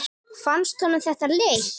Fannst honum þetta leitt?